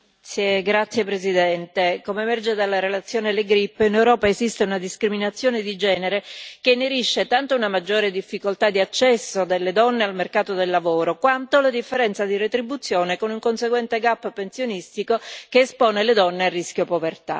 Signor Presidente, onorevoli colleghi, come emerge dalla relazione Le Grip, in Europa esiste una discriminazione di genere che inerisce tanto a una maggiore difficoltà di accesso delle donne al mercato del lavoro, quanto alla differenza di retribuzione, con un conseguente gap pensionistico che espone le donne a rischio povertà.